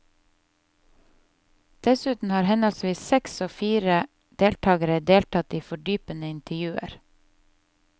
Dessuten har henholdsvis seks og fire deltagere deltatt i fordypende intervjuer.